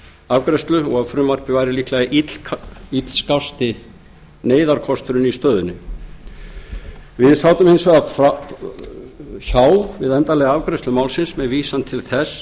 afgreiðslu í ljósi þess að frumvarpið væri illskásti neyðarkosturinn í stöðunni hins vegar sat vinstri hreyfingin grænt framboð hjá við endanlega afgreiðslu málsins með vísan til þess